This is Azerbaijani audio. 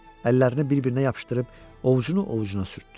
Əllərini bir-birinə yapışdırıb ovcunu ovcuna sürtdü.